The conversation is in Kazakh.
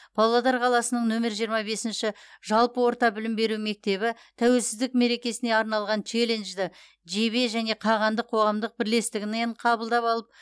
павлодар қаласының нөмірі жиырма бесінші жалпы орта білім беру мектебі тәуелсіздік мерекесіне арналған челленджді жебе және қағандық қоғамдық бірлестігінен қабылдап алып